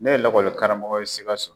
Ne ye lakɔli karamɔgɔ ye Sikaso.